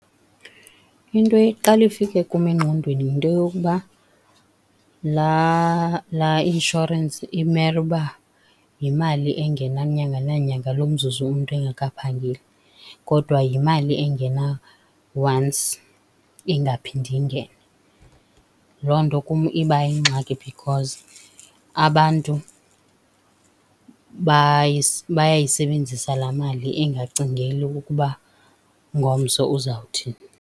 Into eqale ifike kum engqondweni yinto yokuba laa, laa inshorensi imele uba yimali engena nyanga nanyanga lo mzuzu umntu egekaphangeli, kodwa yimali engena once, ingaphinde ingene. Loo nto kum iba yingxaki because abantu bayayisebenzisa laa mali engacingeli ukuba ngomso uzawuthini.